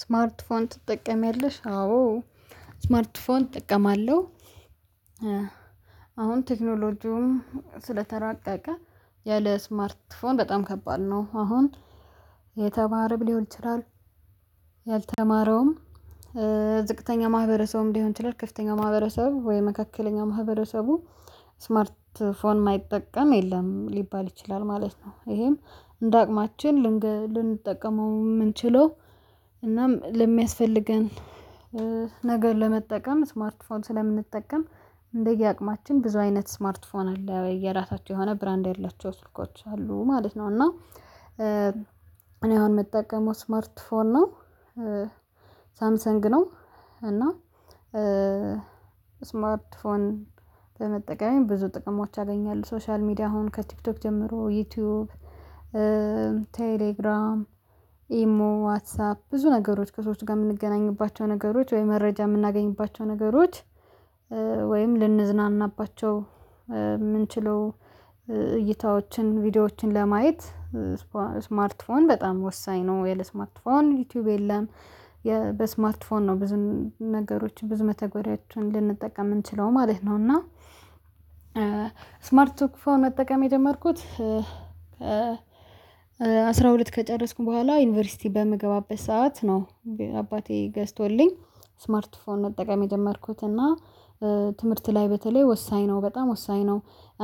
ስማርት ፎን ትጠቀሚያለሽ? አዎ ስማርት ፎን እጠቀማለሁ። አሁን ቴክኖሎጂውን ስለተራቀ ያለ ስማርት ፎን በጣም ከባድ ነው አሁን የተማረም ሊሆን ይችላል። ያልተማረውም ዝቅተኛ ማህበረሰቡም ሊሆን ይችላል ከፍተኛ ማህበረሰብ ወይ መካከለኛ ማህበረሰቡ ስማርት ስልክ የማይጠቀም የለም ሊባል ይችላል ማለት ነው። ይሄም እንደ አቅማችን ልንጠቀመው የምንችለው እናም ለሚያስፈልገን ነገር ለመጠቀም ስማርት ፎን ስለምንጠቀም እንደየ አቅማችን ብዙ አይነት ስማርት ፎን አለ የራሳቸው የሆነ ብራንድ ያላቸው ማለት ነው። እና እኔ አሁን የምጠቀመው ስማርት ፎን ነው ሳምሰንግ ነው። እና ስማርት ፎን በመጠቀም ብዙ ጥቅሞች አገኛለሁ ሶሻል ሚዲያ አሁን ከቲክቶክ ጀምሮ ዩቲዩብ ቴሌግራም ኢሞ ዋትሳፕ ብዙ ነገሮች ከሰዎች ጋር የምንገናኝባቸው ነገሮች ወይ መረጃ የምናገኝባቸው ነገሮች ወይም ልንዝናናባቸው ምንችለው እይታዎችን ቪዲዮዎችን ለማየት ስማርት ፎን በጣም ወሳኝ ነው። የለ ስማርት ፎን ዩቲዩብ የለም በስማርት ፎን ነው ብዙ ነገሮች ብዙ መተግበሪያቸውን ልንጠቀም ምንችለው ማለት ነው። እና ስማርት ፎን መጠቀም የጀመርኩት ከ አስራ ሁለት ከጨረስኩ በኋላ ዩኒቨርሲቲ በምገባበት ሰዓት ነው። አባቴ ገዝቶልኝ ስማርት ፎን መጠቀም የጀመርኩት እና ትምህርት ላይ በተለይ ወሳኝ ነው በጣም ወሳኝ ነው።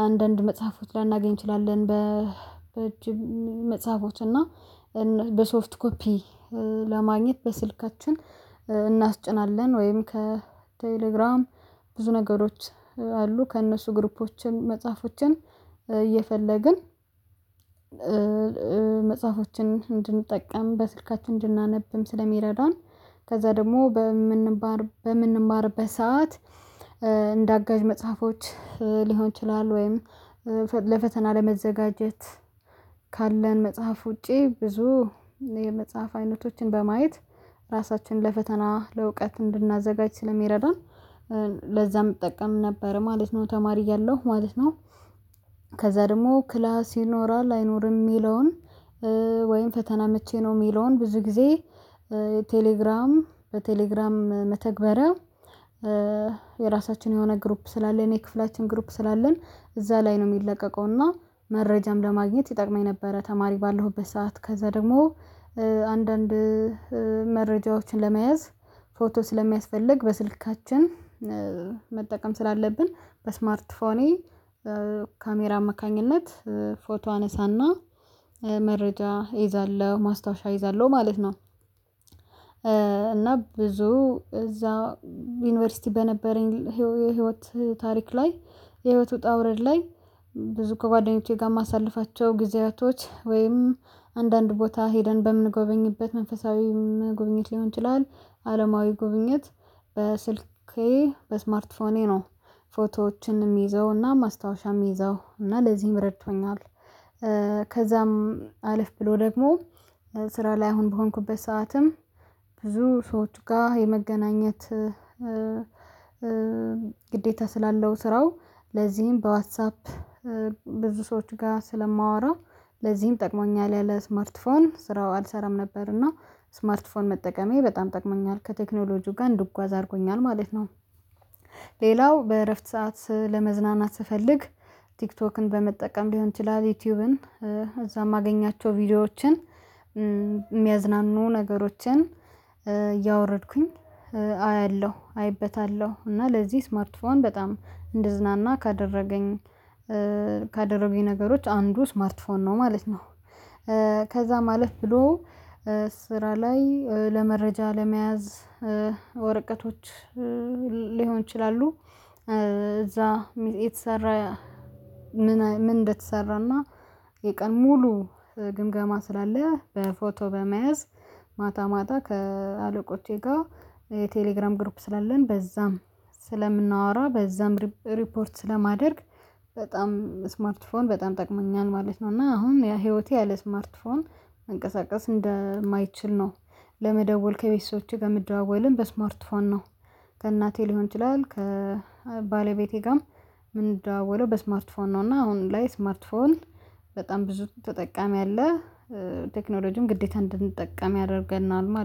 አንዳንድ መጽሐፎች ላናገኝ እንችላለን በ እጅ መጽሐፎች እና በሶፍት ኮፒ ለማግኘት በስልካችን እናስጭናለን ወይም ከቴሌግራም ብዙ ነገሮች አሉ ከእነሱ ግሩፖችን መጽሐፎችን እየፈለግን መጽሐፎችን እንድንጠቀም በስልካችን እንድናነብም ስለሚረዳን። ከዛ ደግሞ በምንባር በምንማርበት ሰዓት እንደ አጋዥ መጽሐፎች ሊሆን ይችላል ወይም ለፈተና ለመዘጋጀት ካለን መጽሐፍ ውጪ ብዙ የመጽሐፍ አይነቶችን በማየት ራሳችንን ለፈተና ለእውቀት እንድናዘጋጅ ስለሚረዳን ለዛም እጠቀም ነበር ማለት ነው። ተማሪ እያለው ማለት ነው ከዛ ደግሞ ክላስ ይኖራል አይኖርም የሚለውን ወይም ፈተና መቼ ነው? የሚለውን ብዙ ጊዜ ቴሌግራም በቴሌግራም መተግበሪያ የራሳችን የሆነ ግሩፕ ስላለን የክፍላችን ግሩፕ ስላለን እዛ ላይ ነው የሚለቀቀው እና መረጃም ለማግኘት ይጠቅመኝ ነበረ። ተማሪ ባለሁበት ሰዓት ከዛ ደግሞ አንዳንድ መረጃዎችን ለመያዝ ፎቶ ስለሚያስፈልግ በስልካችን መጠቀም ስላለብን በስማርት ፎኔ ካሜራ አማካኝነት ፎቶ አነሳና መረጃ እይዛለሁ ማስታወሻ እይዛለሁ ማለት ነው። እና ብዙ እዛ ዩኒቨርሲቲ በነበረኝ የህይወት ታሪክ ላይ የህይወት ውጣ ውረድ ላይ ብዙ ከጓደኞቼ ጋር ማሳለፋቸው ጊዜያቶች ወይም አንዳንድ ቦታ ሄደን በምንጎበኝበት መንፈሳዊ መጎብኘት ሊሆን ይችላል አለማዊ ጉብኝት በስልኬ በስማርት ፎኔ ነው ፎቶዎችንም ምዘውና ማስታወሻም ምዘው እና ለዚህም ረድቶኛል። ከዛም አለፍ ብሎ ደግሞ ስራ ላይ አሁን በሆንኩበት ሰዓትም ብዙ ሰዎች ጋር የመገናኘት ግዴታ ስላለው ስራው ለዚህም በዋትሳፕ ብዙ ሰዎች ጋር ስለማወራ ለዚህም ጠቅሞኛል ያለ ስማርት ፎን ስራው አልሰራም ነበርና ስማርት ፎን መጠቀሜ በጣም ጠቅሞኛል ከቴክኖሎጂው ጋር እንድጓዝ አድርጎኛል ማለት ነው። ሌላው በእረፍት ሰዓት ለመዝናናት ስፈልግ ቲክቶክን በመጠቀም ሊሆን ይችላል ዩቲዩብን እዛ የማገኛቸው ቪዲዮዎችን የሚያዝናኑ ነገሮችን እያወረድኩኝ አያለሁ አይበታለሁ እና ለዚህ ስማርትፎን በጣም እንድዝናና ካደረገኝ ካደረገኝ ነገሮች አንዱ ስማርት ፎን ነው ማለት ነው። ከዛ ማለፍ ብሎ ስራ ላይ ለመረጃ ለመያዝ ወረቀቶች ሊሆን ይችላሉ እዛ የተሰራ ምን እንደተሰራና የቀን ሙሉ ግምገማ ስላለ በፎቶ በመያዝ ማታ ማታ ከአለቆቼ ጋር የቴሌግራም ግርፕ ስላለን በዛም ስለምናወራ በዛም ሪፖርት ስለማደርግ በጣም ስማርት ፎን በጣም ጠቅሞኛል ማለት ነው። እና አሁን ያ ህይወቴ ያለ ስማርት ፎን መንቀሳቀስ እንደማይችል ነው። ለመደወል ከቤተሰቦቼ ጋር ምዳዋወልን በስማርት ፋን ነው ከእናቴ ሊሆን ይችላል ከባለቤቴ ጋርም ምንደዋወለው በስማርት ፎን ነው። እና አሁን ላይ ስማርት ፎን በጣም ብዙ ተጠቃሚ አለ። ቴክኖሎጂም ግዴታ እንድንጠቀም ያደርገናል